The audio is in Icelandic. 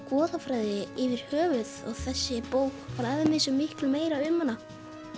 goðafræði yfir höfuð og þessi bók fræðir mig svo miklu meira um hana